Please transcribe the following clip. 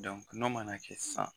nɔ mana kɛ sisan